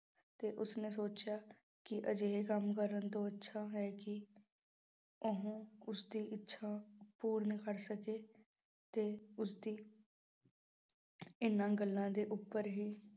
ਤੇ ਉਸਨੇ ਸੋਚਿਆ ਕਿ ਅਜਿਹੇ ਕੰਮ ਕਰਨ ਤੋਂ ਅੱਛਾ ਹੈ ਕਿ ਉਹ ਉਸਦੀ ਇੱਛਾ ਪੂਰਨ ਕਰ ਸਕੇ ਤੇ ਉਸਦੀ ਇਹਨਾਂ ਗੱਲਾਂ ਦੇ ਉੱਪਰ ਹੀ